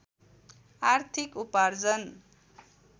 आर्थिक उपार्जन